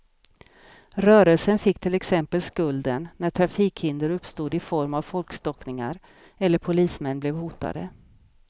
Rörelsen fick till exempel skulden, när trafikhinder uppstod i form av folkstockningar eller polismän blev hotade.